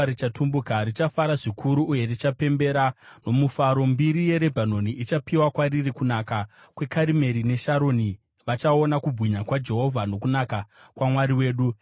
richatumbuka; richafara zvikuru uye richapembera nomufaro. Mbiri yeRebhanoni ichapiwa kwariri, kunaka kweKarimeri neSharoni; vachaona kubwinya kwaJehovha, nokunaka kwaMwari wedu.